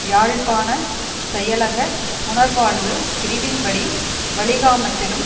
யாழ்ப்பாணச் செயலக புனர்வாழ்வு பிரிவின் படி வலிகாமத்திலும்